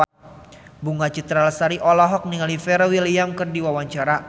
Bunga Citra Lestari olohok ningali Pharrell Williams keur diwawancara